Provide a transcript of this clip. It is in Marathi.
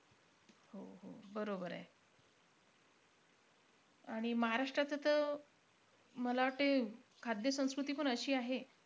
हो-हो बरोबर आहे. आणि महाराष्ट्राचं तर मला वाटते, खाद्य-संस्कृती पण अशी आहे,